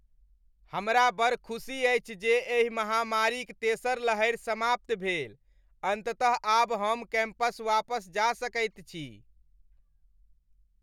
हमरा बड़ खुसी अछि जे एहि महामारीक तेसर लहरि समाप्त भेल। अन्ततः आब हम कैम्पस वापस जा सकैत छी।